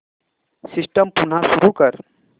system पुन्हा सुरू कर